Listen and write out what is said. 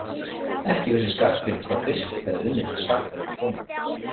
Ekki vissi Skarphéðinn hvað biskup hefði unnið til saka við konung.